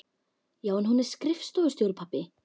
Já, en hún er skrifstofustjóri, pabbi!